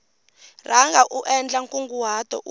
rhanga u endla nkunguhato u